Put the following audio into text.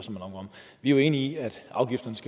vi er jo enige i at afgifterne